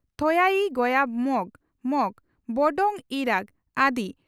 ᱛᱷᱚᱭᱟᱭᱤᱸᱜᱭᱟ ᱢᱚᱜᱽ (ᱢᱚᱜᱽ) ᱵᱚᱰᱚᱝᱜ ᱭᱤᱨᱟᱸᱜᱽ (ᱟᱫᱤ)